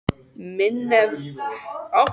Minerva, spilaðu lag.